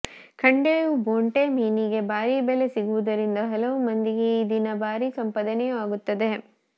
ಖಂಡೇವು ಬೊಂಟೆ ಮೀನಿಗೆ ಭಾರಿ ಬೆಲೆ ಸಿಗುವುದರಿಂದ ಹಲವು ಮಂದಿಗೆ ಈದಿನ ಭಾರೀ ಸಂಪಾದನೆಯೂ ಆಗುತ್ತೆ